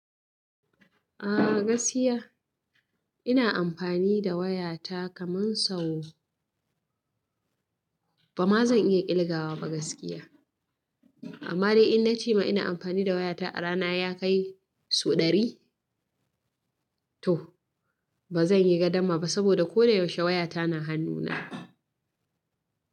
Ah gaskiya ina amfani da wayata kaman sau, bama zan iya ƙilga wa ba gaskiya. Amma dai in na cema ina amfani da wayata a rana ya kai sau ɗari. Toh bazan iya gadama ba saboda ko da yaushe wayata na hannuna.